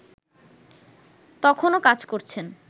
তখনও কাজ করছেন